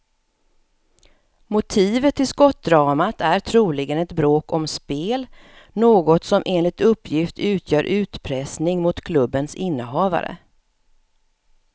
Motivet till skottdramat är troligen ett bråk om spel, något som enligt uppgift utgör utpressning mot klubbens innehavare.